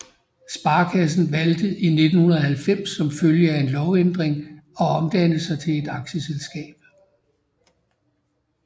Sparekassen valgt i 1990 som følge af en lovændring at omdanne sig til et aktieselskab